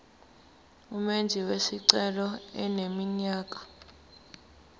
umenzi wesicelo eneminyaka